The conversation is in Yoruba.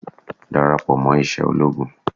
Dàràpọ̀ mọ́ iṣẹ́ ológun.